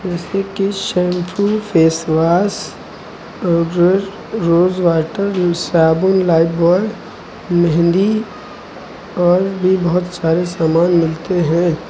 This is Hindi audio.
जैसे कि shampoo face wash powder rose water साबुन लाइवबाय मेहंदी और भी बहुत सारे सामान मिलते हैं।